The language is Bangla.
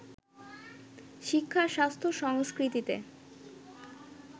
শিক্ষা-স্বাস্থ্য-সংস্কৃতিতে